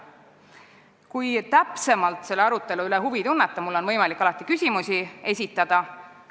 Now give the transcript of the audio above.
Kui te tunnete täpsemat huvi selle arutelu vastu, siis mulle on võimalik küsimusi esitada.